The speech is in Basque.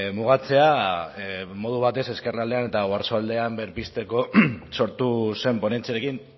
mugatzea modu batez ezkerraldean eta oarsoaldean berpizteko sortu zen ponentziarekin